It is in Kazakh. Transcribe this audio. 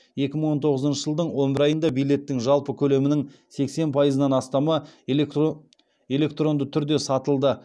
екі мың он тоғызыншы жылдың он бір айында билеттің жалпы көлемнен сексен пайызынан астамы электронды түрде сатылды